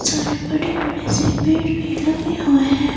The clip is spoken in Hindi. सारे बड़े-बड़े से पेड़ भी लगे हुए हैं।